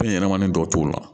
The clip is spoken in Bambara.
Fɛn ɲɛnɛmani dɔ t'o la